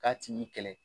K'a tigi kɛlɛ